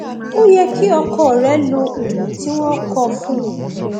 ó yẹ kí ọkọ rẹ lo oògùn tí wọn kọ fún un